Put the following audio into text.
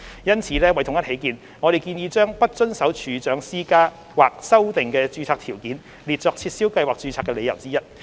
因此，為統一起見，我們建議將"不遵守處長施加或修訂的註冊條件"列作撤銷計劃註冊的理由之一。